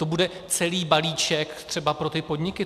To bude celý balíček třeba pro ty podniky.